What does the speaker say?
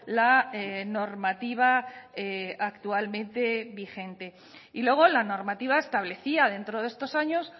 la normativa actualmente vigente y luego la normativa establecía dentro de estos años